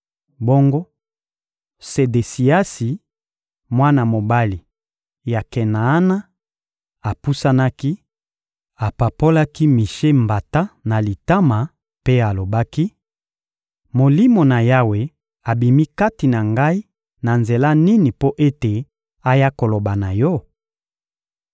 Bongo Sedesiasi, mwana mobali ya Kenaana, apusanaki, apapolaki Mishe mbata na litama mpe alobaki: — Molimo na Yawe abimi kati na ngai na nzela nini mpo ete aya koloba na yo?